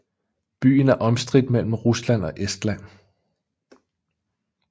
Byen er omstridt mellem Rusland og Estland